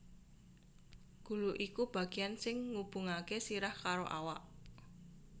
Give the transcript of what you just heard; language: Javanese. Gulu iku bagéan sing ngubungaké sirah karo awak